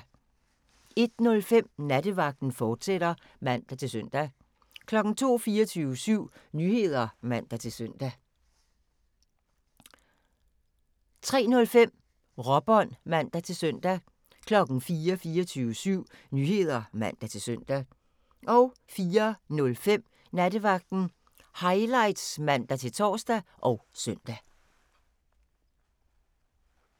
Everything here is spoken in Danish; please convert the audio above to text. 01:05: Nattevagten, fortsat (man-søn) 02:00: 24syv Nyheder (man-søn) 02:05: Nattevagten, fortsat (man-søn) 03:00: 24syv Nyheder (man-søn) 03:05: Råbånd (man-søn) 04:00: 24syv Nyheder (man-søn) 04:05: Nattevagten Highlights (man-tor og søn)